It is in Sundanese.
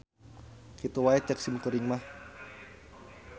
Kitu wae ceuk simkuring mah.